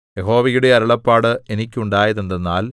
യഹോവയുടെ അരുളപ്പാട് എനിക്കുണ്ടായതെന്തെന്നാൽ